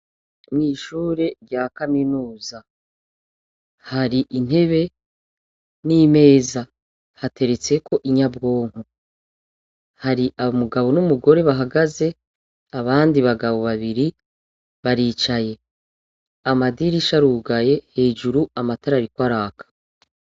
Mwishure rya kaminuza hari intebe n' imeza hateretseko inyabwonko hari umugabo n ' umugore bahagaze abandi bagabo babiri baricaye amadirisha arugaye hejuru amatara ariko araka.